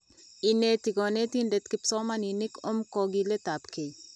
Ineti konetinde kipsomaninik om kokiletapkei.